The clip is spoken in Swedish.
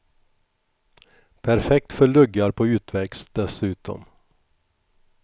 Perfekt för luggar på utväxt, dessutom.